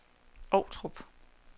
Ovtrup